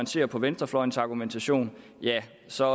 ser på venstrefløjens argumentation ja så